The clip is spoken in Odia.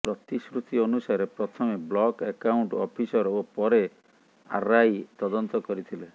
ପ୍ରତିଶ୍ରୁତି ଅନୁସାରେ ପ୍ରଥମେ ବ୍ଲକ୍ ଆକାଉଣ୍ଟ୍ସ ଅଫିସର ଓ ପରେ ଆର୍ଆଇ ତଦନ୍ତ କରିଥିଲେ